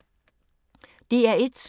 DR1